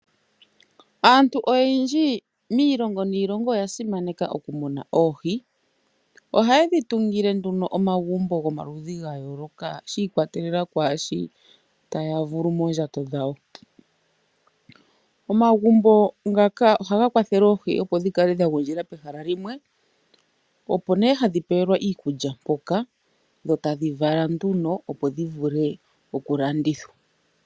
Aantu oyendji miilongo niilongo oya simaneka okumuna oohi. Ohaye dhi tungile nduno omagumbo gomaludhi ga yooloka, shi ikwatelela kwaashi taya vulu moondjato dhawo. Omagumbo ngaka ohaga kwathele oohi opo dhi kale dha gundjila pehala limwe, opo nee hadhi pewelwa iikulya mpoka. Dho tadhi vala nduno opo dhi vule okulandithwa.